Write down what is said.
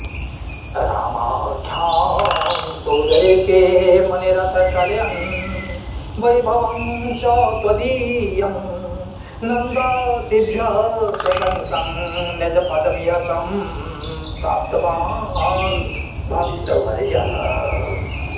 रामाख्यां सोदरे ते मुनिरथ कलयन् वैभवं च त्वदीयं नन्दादिभ्यः प्रशंसन् निजपदमिह सम्प्राप्तवान् भक्तवर्यः